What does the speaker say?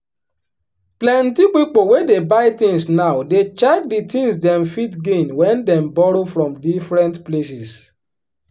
plenty pipo wey dey buy things now dey check di things dem fit gain wen dem borrow from different places.